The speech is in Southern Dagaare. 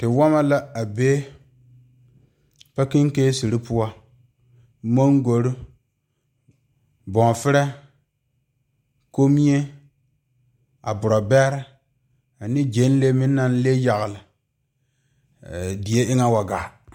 Tewɔma la a be pakyiketi mangoro boɔfire komie a boɔrɔbɛrɛ ane gyanlee ne nene le yagle die eŋa wa gaa.